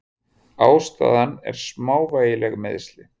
Ástæðan er smávægileg meiðsli.